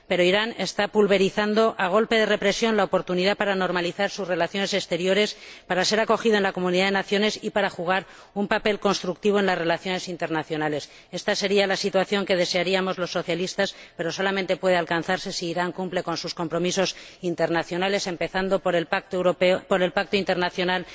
Irán esta pulverizando, a golpe de represión, la oportunidad para normalizar sus relaciones exteriores, para ser acogido en la comunidad de naciones y para jugar un papel constructivo en las relaciones internacionales. Ésta sería la situación que desearíamos los socialistas, pero solamente puede alcanzarse si Irán cumple sus compromisos internacionales, empezando por el Pacto Internacional